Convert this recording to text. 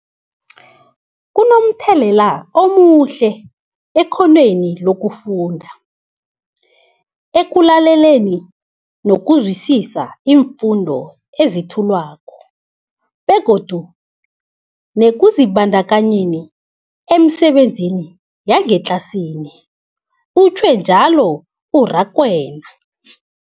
Kunomthelela omuhle ekghonweni lokufunda, ekulaleleni nokuzwisiswa iimfundo ezethulwako begodu nekuzibandakanyeni emisebenzini yangetlasini, utjhwe njalo u-Rakwena.